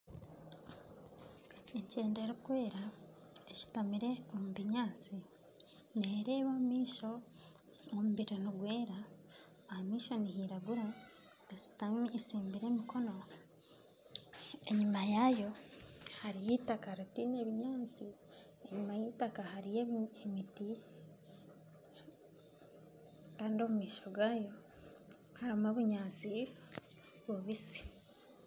Enkyende erikwera eshutamire omu binyaatsi nereba omu maisho , omubiri nigwera, ahamaisho nihiragura eshutami etsimbire emikono enyima yayo hariyo eitaka ritiine binyaatsi enyima y'eitaka hariyo emiti kandi omu maisho gayo harimu obunyaatsi bubitsi.